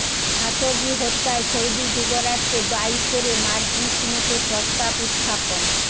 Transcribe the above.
Khashoggi হত্যায় Saudi যুবরাজকে দায়ী করে মার্কিন সিনেটে প্রস্তাব উত্থাপন